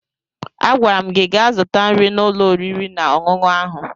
Agwara m gị gaa zụta nri n'ụlọ oriri na ọṅụṅụ ahụ!